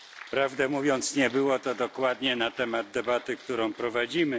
Prawdę mówiąc, nie było to dokładnie na temat debaty, którą prowadzimy.